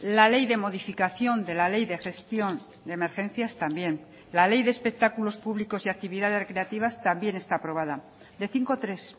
la ley de modificación de la ley de gestión de emergencias también la ley de espectáculos públicos y actividades recreativas también está aprobada de cinco tres